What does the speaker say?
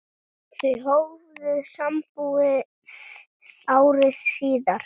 Þau hófu sambúð ári síðar.